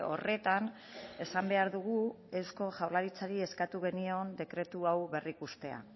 horretan esan behar dugu eusko jaurlaritzari eskatu geniola dekretu hau berrikustea